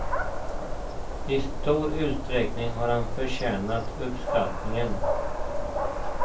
I stor utsträckning har han förtjänat uppskattningen.